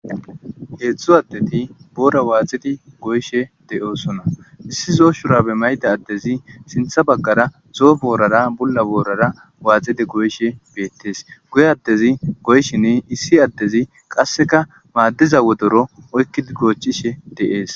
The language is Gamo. Hezdu adeti boora woxid goyishe de'osona.issi zo'o shurabe mayda adezi sintha bagara zo'o boorara Bula boorara waxid goyshe betes guye adezi goyshin issi adezi qaseka madiza wodoro oykid gochishe de'es